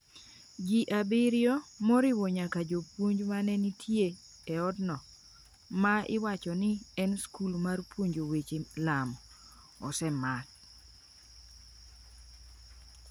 Ji abiriyo, moriwo nyaka jopuonj ma ne nitie e otno, ma iwacho ni en skul mar puonjo weche Lamo, osemak .